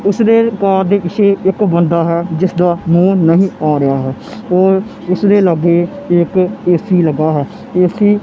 ਉਸ ਦੇ ਕਾਰ ਦੇ ਪਿੱਛੇ ਇੱਕ ਬੰਦਾ ਹੈ ਜਿਸਦਾ ਮੂੰਹ ਨਹੀਂ ਆ ਰਿਹਾ ਹੈ ਔਰ ਉਸਦੇ ਲਾਗੇ ਇੱਕ ਏ_ਸੀ ਲੱਗਾ ਹੈ ਏ_ਸੀ --